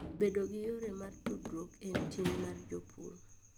Bedo gi yore mag tudruok en ting' mar jopur.